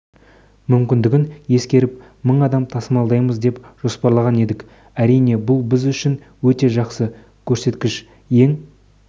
мүмкіндігін ескеріп мың адам тасымалдаймыз деп жоспарлаған едік әрине бұл біз үшін өте жақсы көрсеткіш ең